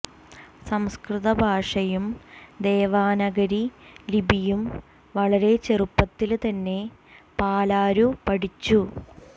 സംസ്കൃത ഭാഷയും ദേവനാഗരി ലിപിയും വളരെ ചെറുപ്പത്തില് തന്നെ പാലരു പഠിച്ചു